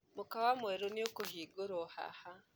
Mũkawa mwerũ nĩũkũhingũrũo haha.